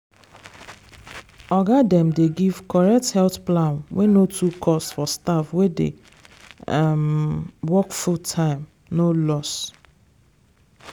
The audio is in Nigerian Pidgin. oga dem dey give correct health plan wey no too cost for staff wey dey um work full-time no loss.